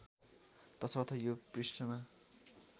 तसर्थ यो पृष्ठमा